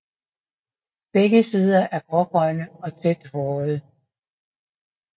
Begge sider er grågrønne og tæt hårede